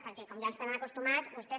perquè com ja ens hi tenen acostumats vostès